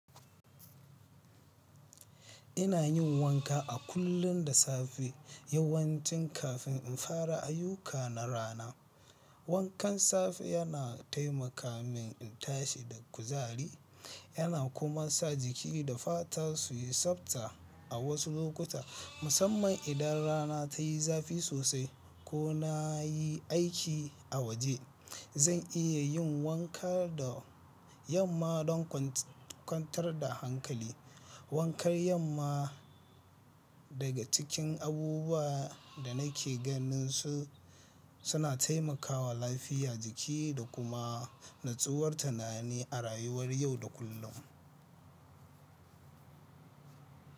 Ina yin wanka a kullum da safe yawancin kafin in fara ayyuka na rana. Wankan safe yana taimaka min in tashi da kuzari. Yana kuma sa jiki da fata su yi tsabta. A wasu lokuta, musamman idan rana ta yi zafi sosai ko na yi aiki a waje, zan iya yin wanka da yamma don kwantar da hankali. Wankan yamma daga cikin abubuwan da nake ganin su suna taimakawa lafiya jiki da kuma nutsuwar tunani a rayuwar yau da kullum.